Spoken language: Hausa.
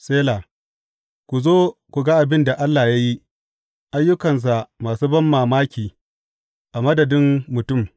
Sela Ku zo ku ga abin da Allah ya yi, ayyukansa masu banmamaki a madadin mutum!